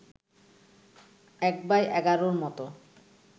১/১১’র মতো